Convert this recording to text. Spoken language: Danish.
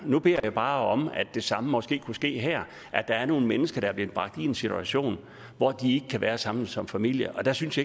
og nu beder jeg bare om at det samme måske kunne ske her der er nogle mennesker der er blevet bragt i en situation hvor de kan være sammen som familie og der synes